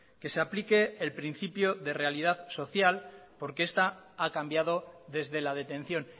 que se aplique el principio de realidad social porque esta ha cambiado desde la detención